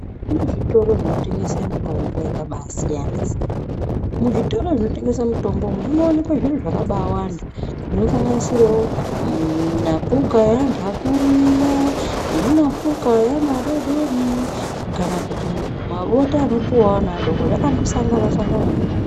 Kune zvitoro zvinotengese mitombo yakabasiyana-siyana. Muzvitoro zvinotengese mitombo munowanikwe zviro zvakabawanda zvinosanganisirewo minapuka yeantu akuru iya, neminapuka yeana adodori kana kuti mabota anopuwa ana adoko, zvakandosangana mona umomo.